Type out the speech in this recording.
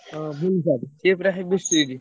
ହଁ ବିଭୁ sir ସିଏ ପୁରା heavy strict ।